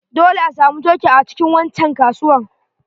Dole asamu coke a cikin wancan kasuwan.